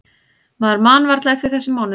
Maður man varla eftir þessum mánuðum.